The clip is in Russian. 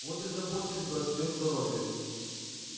вот и заботились бы о своём здоровье